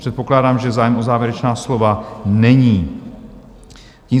Předpokládám, že zájem o závěrečná slova není.